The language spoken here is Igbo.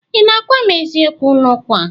Ị na-agwa m eziokwu n'okwu a?